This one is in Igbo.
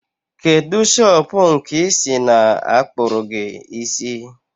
Kedụ shopụ̀ nke i si na-akpụrụ gi isi?